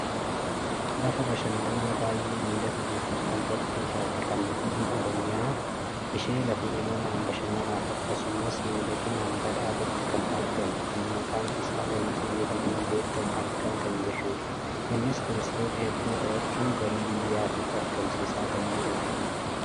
lafa bashananaa baayyee miidhagduufi hawwattuu taate kan naannoo Oromiyaa ishee lafa uummamaan bashananaaf akkasumas miidhaginaan badhaatetti kan argamu kan maqaan isaa wancii jedhamuun beekkamu argaa kan jirrudha. innis turistoota hedduu horachuun galii biyyattiif argamsiisaa kan jirudha.